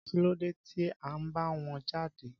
Kí ló dé tí ó ń bá wọn jáde?